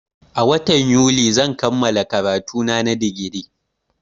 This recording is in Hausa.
A watan yuli zan kammala karatuna na digiri